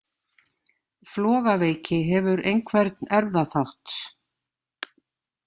Flogaveiki hefur einhvern erfðaþátt.